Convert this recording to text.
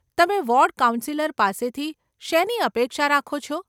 તમે ward councillor પાસેથી શેની અપેક્ષા રાખો છો?